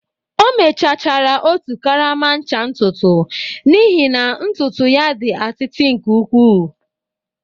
O mechachara otu karama ncha ntutu n'ihi na ntutu ya dị atịtị nke ukwuu